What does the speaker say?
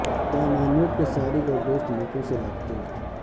شاہ محمود کے سارک اور دوست ملکوں سے رابطے